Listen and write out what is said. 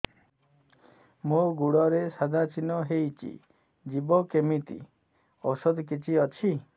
ମୋ ଗୁଡ଼ରେ ସାଧା ଚିହ୍ନ ହେଇଚି ଯିବ କେମିତି ଔଷଧ କିଛି ଅଛି